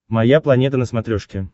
моя планета на смотрешке